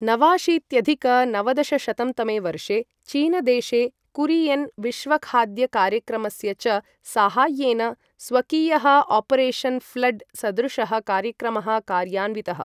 नवाशीत्यधिक नवदशशतं तमे वर्षे चीनदेशे कुरिएन् विश्वखाद्यकार्यक्रमस्य च साहाय्येन स्वकीयः ऑपरेशन फ्लड सदृशः कार्यक्रमः कार्यान्वितः ।